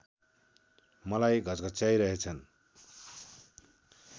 मलाई घच्घचाइरहेछन्